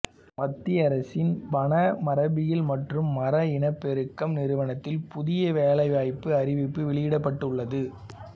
மத்திய அரசின் வன மரபியல் மற்றும் மரம் இனப்பெருக்கம் நிறுவனத்தில் புதிய வேலைவாய்ப்பு அறிவிப்பு வெளியிடப்பட்டுள்ளது